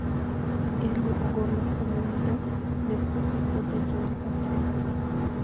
Geng'o ogolo kuom ng'ado ne puothe puothe kinde ka kinde